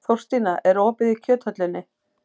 Þórstína, er opið í Kjöthöllinni?